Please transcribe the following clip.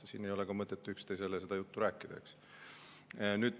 Siin ei ole mõtet üksteisele seda juttu rääkida.